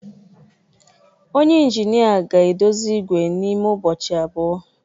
Onye injinịa ga-edozi igwe n'ime ụbọchị abụọ.